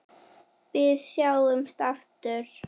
Við sjáumst aftur.